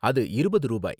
அது இருபது ரூபாய்.